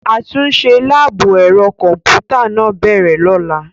Àtúnṣe láàbù ẹ̀rọ kọ̀m̀pútà máa bẹ̀rẹ̀ lọ́la.